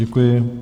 Děkuji.